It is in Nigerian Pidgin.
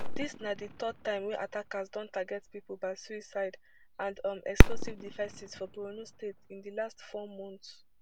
dis na di third time wey attackers don target pipo by suicide and um explosive devices for borno state in di last four months